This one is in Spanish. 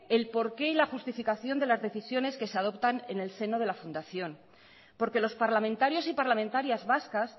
el porqué y la justificación de las decisiones que se adoptan en el seno de la fundación porque los parlamentarios y parlamentarias vascas